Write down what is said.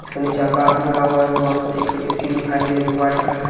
इसके नीचे आकाश लिखा हुआ है बस एक सी दिखाई दे रहा है जो वाइट कलर का--